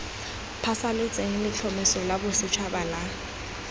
phasalatse letlhomeso la bosetšhaba la